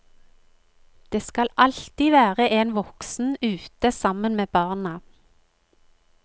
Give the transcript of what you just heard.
Det skal alltid være en voksen ute sammen med barna.